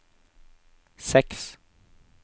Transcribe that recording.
seks